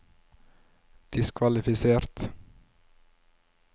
diskvalifisert